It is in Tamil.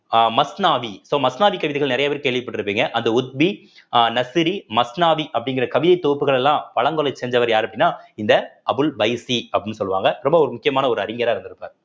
அஹ் மஸ்னாவி so மஸ்னாவிக் கவிதைகள் நிறைய பேர் கேள்விப்பட்டிருப்பீங்க அந்த உத்வி அஹ் நர்சரி மஸ்னாவி அப்படிங்கிற கவித தொகுப்புகள் எல்லாம் செஞ்சவர் யாரு அப்படின்னா இந்த அபுல் பைசி அப்படின்னு சொல்லுவாங்க ரொம்ப ஒரு முக்கியமான ஒரு அறிஞராக இருந்திருப்பார்